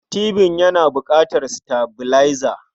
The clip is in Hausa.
Tibin yana buƙatar sitabilaiza.